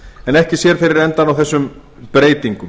en ekki sér fyrir endann á þessum breytingum